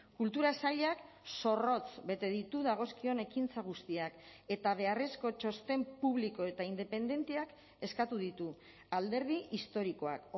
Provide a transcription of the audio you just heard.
kultura sailak zorrotz bete ditu dagozkion ekintza guztiak eta beharrezko txosten publiko eta independenteak eskatu ditu alderdi historikoak